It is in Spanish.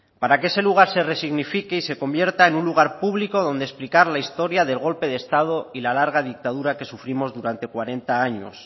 para que ese lugar se resignifique y se convierta en un lugar público donde explicar la historia del golpe de estado y la larga dictadura que sufrimos durante cuarenta años